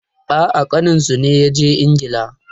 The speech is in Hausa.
A'a, ƙaninsu ne ya je Ingila.